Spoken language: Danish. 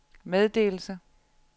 meddelelse